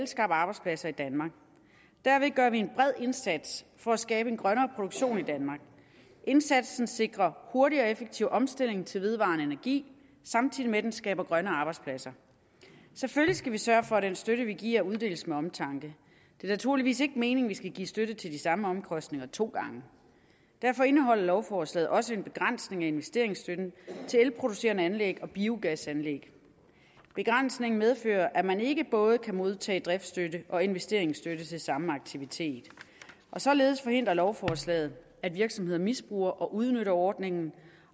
skabe arbejdspladser i danmark derved gør vi en bred indsats for at skabe en grønnere produktion i danmark indsatsen sikrer hurtig og effektiv omstilling til vedvarende energi samtidig med at den skaber grønne arbejdspladser selvfølgelig skal vi sørge for at den støtte vi giver uddeles med omtanke det er naturligvis ikke meningen at vi skal give støtte til de samme omkostninger to gange derfor indeholder lovforslaget også en begrænsning af investeringsstøtten til elproducerende anlæg og biogasanlæg begrænsningen medfører at man ikke både kan modtage driftsstøtte og investeringsstøtte til samme aktivitet således forhindrer lovforslaget at virksomheder misbruger og udnytter ordningen